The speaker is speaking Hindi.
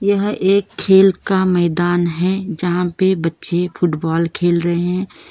यहां एक खेल का मैदान है जहां पे बच्चे फुटबॉल खेल रहे हैं।